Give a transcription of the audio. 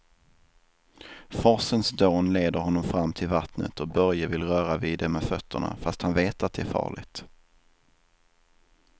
Forsens dån leder honom fram till vattnet och Börje vill röra vid det med fötterna, fast han vet att det är farligt.